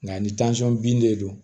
Nka ni bin de don